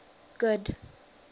good